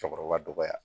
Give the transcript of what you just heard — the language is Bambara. Cɛkɔrɔba dɔgɔya